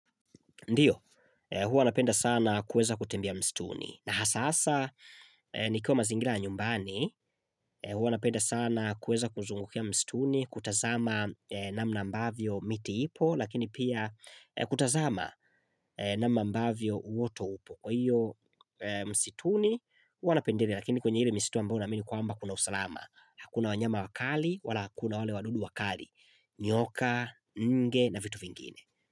Ndio, huo anapenda sana kuweza kutembea mstuni. Na hasa hasa, nikiwa mazingira ya nyumbani, huwa anapenda sana kuweza kuzungukia mstuni, kutazama namna ambavyo miti ipo, lakini pia kutazama namna ambavyo uoto upo. Kwa hio msituni, hua napendelea, lakini kwenye ile msitu ambao na amini kwamba kuna usalama. Hakuna wanyama wakali, wala hakuna wale wadudu wakali, nyoka, nge na vitu vingine.